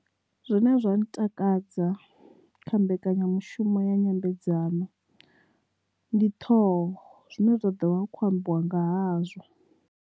Zwina zwa ntakadza kha mbekanyamushumo ya nyambedzano ndi ṱhoho zwine zwa ḓovha hu khou ambiwa nga hazwo.